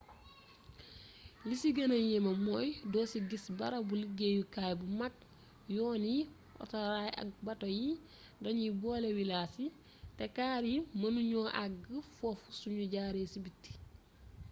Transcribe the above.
li ci gëna yéeme mooy doo ci gis barabu liggeyukay bu mag yoon yi otoraay ak bato yi dañuy boole wilaas yi te kaar yi mënu ñu àgg foofu sunu jaaree ci biti